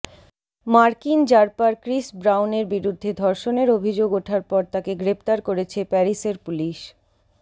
মার্কিন rapper Chris ব্রাউনের বিরুদ্ধে ধর্ষণের অভিযোগ ওঠার পর তাকে গ্রেপ্তার করেছে প্যারিসের পুলিশ